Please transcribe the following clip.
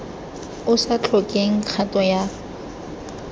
o sa tlhokeng kgato ya